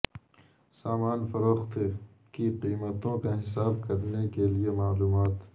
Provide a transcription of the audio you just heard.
سامان فروخت کی قیمتوں کا حساب کرنے کے لئے معلومات